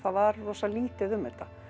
var rosa lítið um þetta